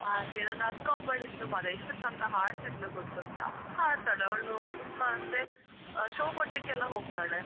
ಹಾಗೆ, ನನ್ನ ಅಕ್ಕ ಒಬ್ಬಳು ಇದ್ಲು ಮಾರ್ರೆ ಎಷ್ಟು ಚಂದ ಹಾಡ್ತಿದ್ಲು ಗೊತ್ತುಂಟಾ ಹಾಡ್ತಾಳೆ ಅವಳು ತುಂಬ ಅಂದ್ರೆ show ಕೊಡ್ಲಿಕ್ಕೆಲ್ಲಾ ಹೋಗ್ತಾಳೆ.